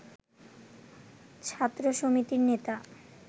ছাত্র সমিতির নেতা